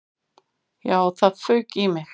Já, það fauk í mig.